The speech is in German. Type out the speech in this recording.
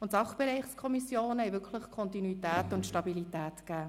Und die Sachbereichskommissionen haben wirklich Kontinuität und Stabilität gebracht.